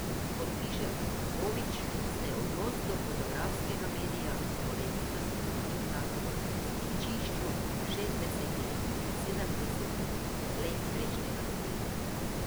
Kot piše Kovič, se je odnos do fotografskega medija korenito spremenil na stičišču šestdesetih in sedemdesetih let prejšnjega stoletja.